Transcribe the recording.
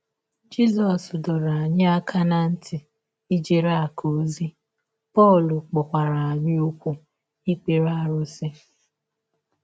Jisọs dọrọ aka ná ntị megide ijere “ akụ̀ ” ozi, Pọl kpọkwara anyaụkwu ikpere arụsị.